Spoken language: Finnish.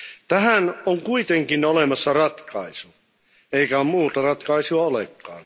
Tähän on kuitenkin olemassa ratkaisu, eikä muuta ratkaisua olekaan.